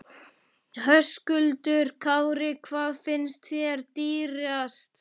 Höskuldur Kári: Hvað finnst þér dýrast?